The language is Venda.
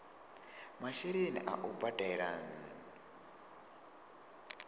masheleni a u badela nnu